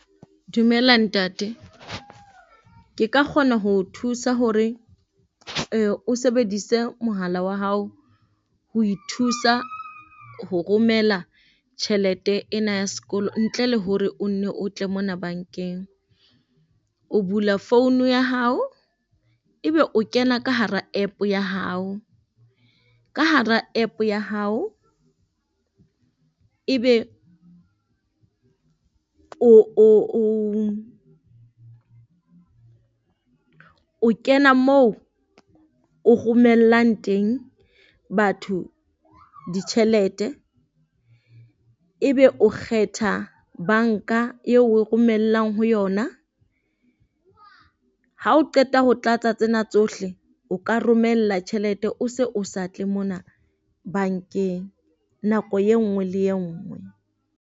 Dumela ntate. Ke ka kgona ho o thusa hore o sebedise mohala wa hao ho ithusa ho romela tjhelete ena ya sekolo ntle le hore o nne o tle mona bankeng. O bula phone ya hao, ebe o kena ka hara app ya hao, ka hara app ya hao ebe o o o kena moo o romellang teng batho ditjhelete. Ebe o kgetha a banka eo o e romellang ho yona. Ha o qeta ho tlatsa tsena tsohle, o ka romella tjhelete o se o sa tle mona bankeng nako e nngwe le e nngwe?